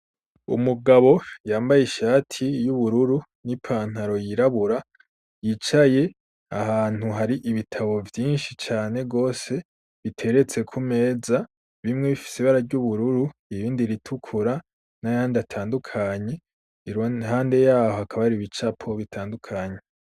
Umugabo yambaye ishati y'ubururu n'i pantaro yirabura yicaye ahantu hari ibitabo vyinshi cane rwose biteretseku meza bimwe bifise bara ry'ubururu ibindi ritukura n'ayandi atandukanye irontande yaho akabariba icapobo bitandukanye.